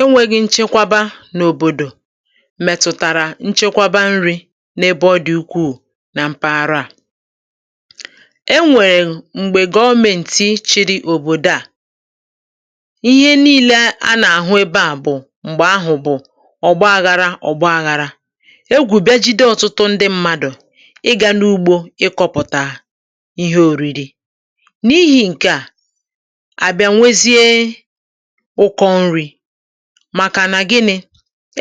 enwēghī nchekwaba n’òbòdò mètụ̀tàrà nchekwaba nrī n’ebe ọ dị̀ ukwuù na mpaghara à e nwèè m̀gbè gọọmēǹtị̣ chịrị òbòdo à ihe niilē a nà-àhụ ebe à bụ̀ m̀gbè ahụ̀ bụ̀ ọ̀gbaāghārā ọ̀gbaāghārā egwù bịa jide ọ̀tụtụ ndị mmadụ̀ ịgā n’ugbō ịkọ̄pụ̀tà ihe ōrīrī n’ihī ṅ̀ke à à bị̄a nwezie ụkọ nrī màkà nà gịnị̄?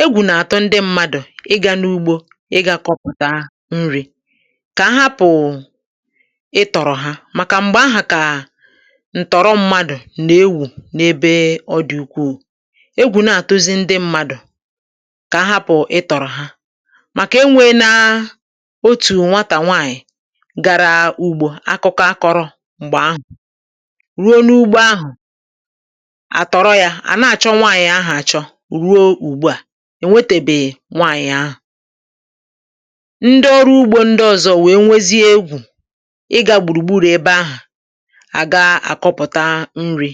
egwù nà-àtụ ndị mmadụ̀ ịgā n’ugbō ịgā kọpụ̀ta nrī kà a hapụ̀ụ̀ ịtọ̀rọ̀ ha màkà m̀gbè ahà kà ǹtọ̀rọ mmadụ̀ nà-ewù n’ebe ọ dị̀ ukwuù egwù na-àtụzi ndị mmadụ̀ kà ahapụ̀ ịtọ̀rọ̀ ha màkà e nwēēnā otù nwatà nwaànyị̀ gara ugbō akụkọ a kọ̄rọ̄ m̀gbè ahụ̀ ruo n’ugbo ahụ a tọ̀rọ yā à na-àchọ nwaànyị̀ ahụ̀ achọ ruo ùgbuà ènwetèbè nwaanyị ahụ̀ ndị ọrụ ugbō ndị ọzọ̄ wèe nwezie egwù ịgā gbùrù gburù ebe ahụ̀ àga àkọpụ̀ta nrī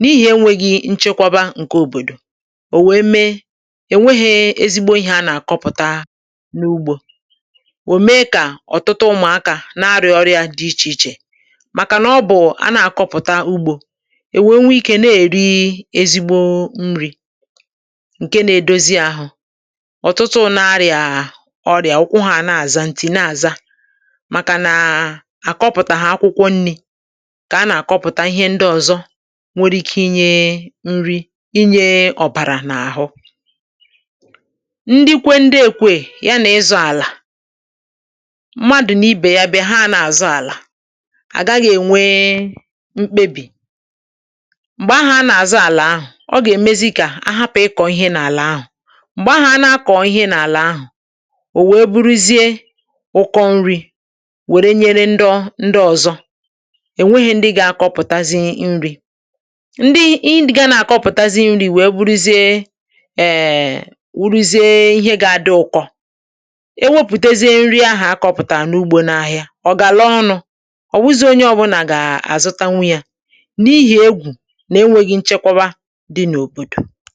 n’ihì enwēghī nchekwaba ṅ̀ke ɔ̀bòdò ò wèe mee è nwehē ezigbo ihē a nà-àkọpụ̀ta n’ugbō ò mèe kà ọ̀tụtụ ụmụ̀akā màkà na ọ bụ a na-akọpụ̀ta ugbō è wèe nwee ikē na- èri ezigbo nrī ṅ̀ke na-edozi ahụ̄ ọ̀tụtụ nā arị̀à ọrịà ụkwụ hā na-àza ǹtì na-àza màkà nǹǹ à kọpụ̀tàhà akwụkwọ nnī ṅkè a nà-àkọpụ̀ta ihe ndị ọ̀zọ nwere ike inyē nri inyē ọ̀bàrà n’àhụ ndi kwe ndi ekweè ya nà ịzọ̄ àlà mmadụ̀ nà ibè ya bịa ha nā-àzọ àlà à gaghị̄ ènwe mkpebì m̀gbè ahà a nà-àzọ àlà ahà ọ gà-èmezi kà a hapụ̀ ịkọ̀ ihe n’àlà ahà m̀gbè ahà a na-akọ̀ ihe n’ala ahụ̀ ò wèe buruzie ụkọ nrī wère nyere ndọ ndị ọ̄zọ̄ è nwehē ndị gā-akọpụ̀tazi nrī ndị ị ga na-àkọpụtazi nrī wèe bụrụzie èèè wụrụzie ihe gā-adị ụkọ e wepùtezie nri ahà a kọ̄pụ̀tàrà n’ugbō n’ahịa ọ̀ gàlaa ọnụ̄ ọ̀ wụzīī onye ọ̄bụ̄nà gà-àzụtanwu yā n’ihì egwù nà enwēghī nchekwawa dị n’òbòdò